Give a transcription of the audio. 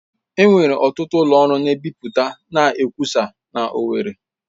Enwere ọtụtụ ụlọ ọrụ na-ebipụta na nkwụsa na owerri.